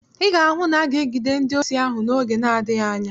Ị ga-ahụ na aga-egide ndị osi ahụ oge n'adịghị anya.